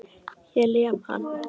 Ég lem hann.